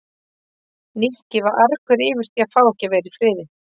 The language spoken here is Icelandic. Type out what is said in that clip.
Nikki var argur yfir því að fá ekki að vera í friði.